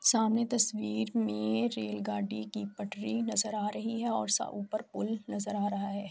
سامنے تشویر مے ریل گاڑی کی پٹری نظر آ رہی ہے اور اپر پول نظر آ رہا ہے۔